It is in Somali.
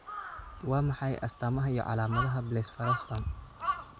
Waa maxay astamaha iyo calaamadaha Blepharospasm?